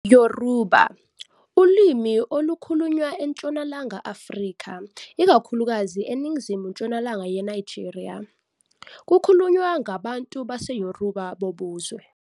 Yoruba, ulimi olukhulunywa eNtshonalanga Afrika, ikakhulukazi eNingizimu-ntshonalanga yeNigeria. Kukhulunywa ngabantu baseYoruba bobuzwe.